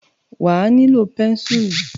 Wà a nílò pẹ́ńsùl.